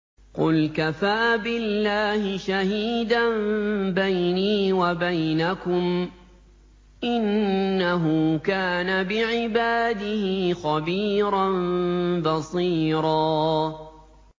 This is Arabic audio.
قُلْ كَفَىٰ بِاللَّهِ شَهِيدًا بَيْنِي وَبَيْنَكُمْ ۚ إِنَّهُ كَانَ بِعِبَادِهِ خَبِيرًا بَصِيرًا